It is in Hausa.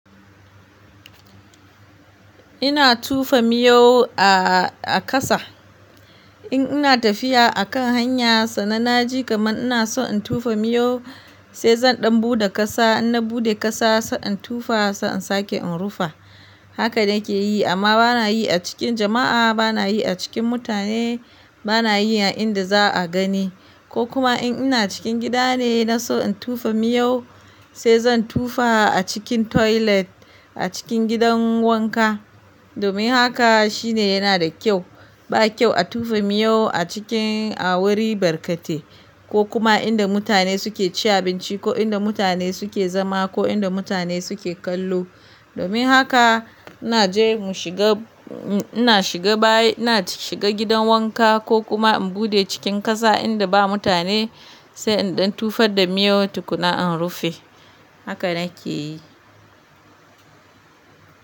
Ina tofa miyau a, a ƙasa. In ina tafiya a kan hanya sannan na ji kaman ina so in tofa miyau sai zan ɗan buɗe ƙasa. In na buɗe ƙasa sai in tofa sai in sake in rufe. Haka na ke yi amma bana yi a cikin jama'a, bana yi a cikin mutane, bana yi a inda za'a gani. Ko kuma in ina cikin gida ne na so in tofa miyau sai zan tofa a cikin toilet a cikin gidan wanka. Domin haka shine yana da kyau. Ba kyau a tofa miyau a cikin awori barkate ko kuma inda mutane suke ci abinci ko inda mutane suke zama ko inda mutane suke kallo. Domin haka ina je mu shiga, ina shiga bayi, ina shiga gidan wanka ko kuma in buɗe cikin ƙasa inda ba mutane sai in ɗan tufar da miyau tukuna in rufe. Haka na ke yi.